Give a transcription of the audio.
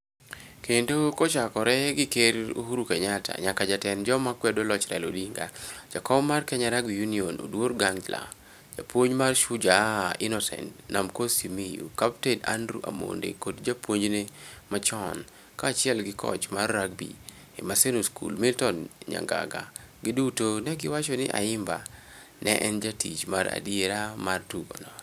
Kendo kochakore gi Ker Uhuru Kenyatta nyaka jatend joma kwedo loch Raila Odinga, jakom mar Kenya Rugby Union Oduor Gangla, japuonj mar Shujaa Innocent 'Namcos' Simiyu, kapten Andrew Amonde kod japuonjne machon kaachiel gi koch mar rugby e Maseno School Milton Nyangaga, giduto ne giwacho ni Ayimba ne en jatich mar adiera mar tugono.